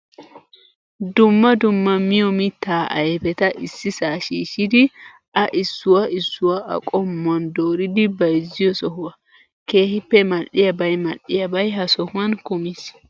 Dumma dumma miyoo mittaa ayipetaa issisaa shiishshidi A issuwaa issuwaa A qommowaan doridi bayizziyoo sohuwaa. Keehippe mal'iyaabayi mal''iyaabayi ha sohuwan kumis.